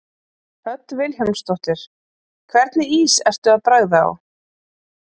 Hödd Vilhjálmsdóttir: Hvernig ís ertu að bragða á?